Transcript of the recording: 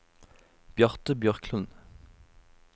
Bjarte Bjørklund